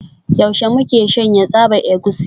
Yaushe muke shanya tsaban egusi?